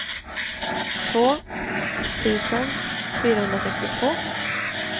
två tusen fyrahundrasextiotvå